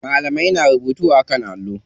Malamai na rubutu a kan allo.